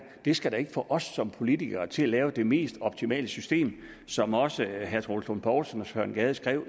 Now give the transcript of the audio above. skal da ikke få os som politikere til at lave det mest optimale system som også herre troels lund poulsen og søren gade skrev